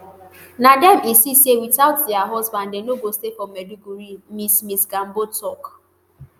na dem insist say witout dia husbands dem no go stay for maiduguri ms ms gambo tok